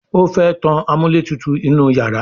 o fè tán amúlétutù inú iyàrá